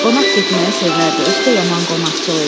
Qonaq getməyi sevərdi, özü də yaman qonaqçıl idi.